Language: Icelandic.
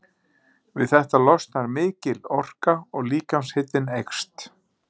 Við þetta losnar mikil orka og líkamshitinn eykst.